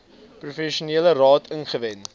professionele raad ingewin